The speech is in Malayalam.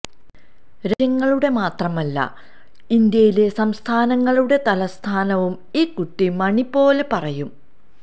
രാജ്യങ്ങളുടെ മാത്രമല്ല ഇന്ത്യയിലെ സംസ്ഥാനങ്ങളുടെ തലസ്ഥാനവും ഈ കുട്ടി മണി പോലെ പറയും